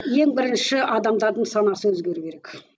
ең бірінші адамдардың санасы өзгеру керек